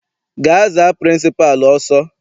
Gaa za pịrịnsịpalụ ọsọ!